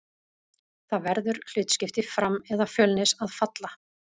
Það verður hlutskipti Fram eða Fjölnis að falla.